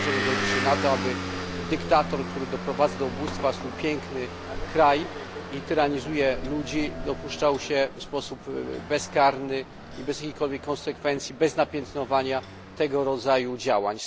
Nie możemy się godzić na to, aby dyktator, który doprowadza do ubóstwa swój piękny kraj i tyranizuje ludzi, dopuszczał się tego w sposób bezkarny i bez jakichkolwiek konsekwencji, bez napiętnowania tego rodzaju działań.